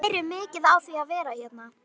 Ég læri mikið á því að vera hérna.